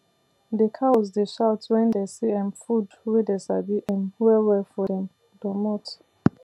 the cows dey shout when dey see um food wey dey sabi um well well for dem domot